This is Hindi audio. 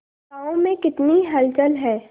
गांव में कितनी हलचल है